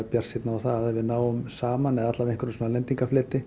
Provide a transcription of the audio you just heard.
bjartsýnn á það ef við náum saman eða